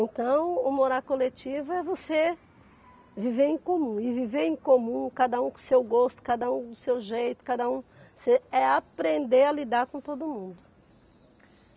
Então, o morar coletivo é você viver em comum, e viver em comum, cada um com o seu gosto, cada um com o seu jeito, cada um é aprender a lidar com todo mundo.